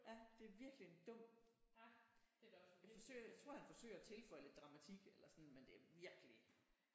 Ja det er virkelig en dum jeg tror han forsøger jeg tror han forsøger at tilføje lidt dramatik eller sådan men det er virkelig